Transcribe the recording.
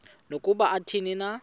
nokuba athini na